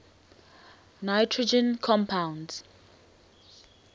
nitrogen compounds